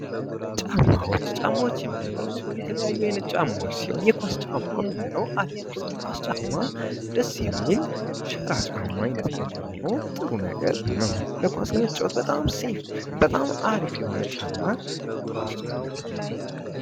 ጫማዎች ፦ ጫማዎች የምንላቸው የተለያዩ አይነት ጫማዎች ሲሆን የኳስ ጫማ የምንለው የኳስ ጫማ ደስ የሚል ፣ ሸራ ጫማ አይነት ነገር ሆኖ ጥሩ ነገር ነው ኳስ ለመጫዎት በጣም ሴፍ በጣም አሪፍ የሆነ ጫማ ኳስ ጫማ ነው ።